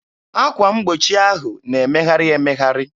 Akwa mgbochi ahụ na-emegharị emegharị.